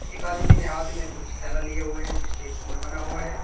एक आदमी ने हाथ में कुछ थैला लिए हुए हैं जिस पे फूल बना हुआ है।